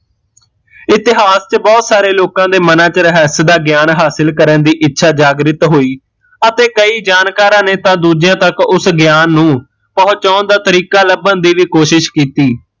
ਇਤਿਹਾਸ ਚ ਭੱਟ ਸਾਰੇ ਲੋਕਾਂ ਦੇ ਮਨਾਂ ਚ ਰਹੱਸ ਦਾ ਗਿਆਨ ਹਾਸਲ ਕਰਨ ਦੀ ਇੱਛਾ ਜਾਗ੍ਰਿਤ ਹੋਈ ਅਤੇ ਕਈ ਜਾਣਕਾਰਾ ਨੇ ਤਾਂ ਦੂਜਿਆ ਤੱਕ ਉਸ ਗਿਆਨ ਨੂੰ ਪਹੁੰਚਾਉਣ ਦਾ ਤਰੀਕਾ ਲੱਭਣ ਦੀ ਵੀ ਕੋਸ਼ਿਸ਼ ਕੀਤੀ